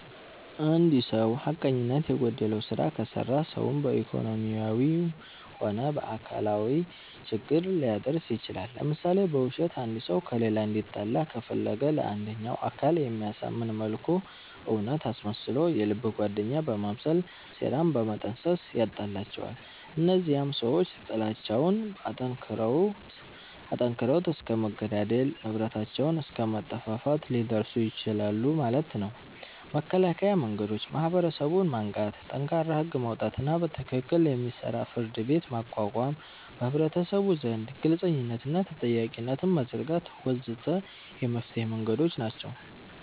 እንድ ሰዉ ሐቀኝነት የጎደለዉ ስራ ከሰራ ሰዉን በኢኮኖሚያዊም ሆነ በአካላዊ ችግር ሊያደርስ ይችላል ለምሳሌ፦ በዉሸት አንድ ሰዉ ከሌላ እንዲጣላ ከፈለገ ለአንደኛዉ አካል በሚያሳምን መልኩ እዉነት አስመስሎ የልብ ጓደኛ በመምሰል ሴራን በመጠንሰስ ያጣላቸዋል እነዚያም ሰዎች ጥላቻዉን አጠንክረዉት እስከ መገዳደል፣ ንብረታቸዉንም አስከ መጠፋፋት ሊደርሱ ይችላሉ ማለት ነዉ። መከላከያ መንገዶች፦ ማህበረሰቡን ማንቃት፣ ጠንካራ ህግ ማዉጣትና በትክክል የሚሰራ ፍርድቤት ማቋቋም፣ በህብረተሰቡ ዘንድ ግልፅነትንና ተጠያቂነትን መዘርጋት ወ.ዘ.ተ የመፍትሔ መንገዶች ናቸዉ።